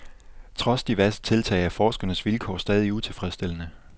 Trods diverse tiltag er forsknernes vilkår stadig utilfredsstillende.